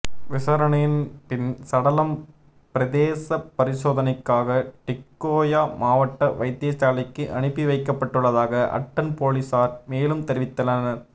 விசாரணையின் பின் சடலம் பிரேத பரிசோதணைக்காக டிக்கோயா மாவட்ட வைத்தியசாலைக்கு அனுப்பி வைக்கப்படவுள்ளதாக அட்டன் பொலிஸார் மேலும் தெரிவித்தனர்